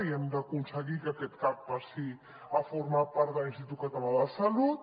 i hem d’aconseguir que aquest cap passi a formar part de l’institut català de la salut